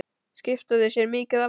Skipta þau sér mikið af þér?